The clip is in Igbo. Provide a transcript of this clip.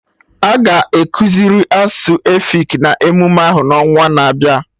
Aga ekuziri asụsụ efik na emume ahụ n'ọnwana-abịa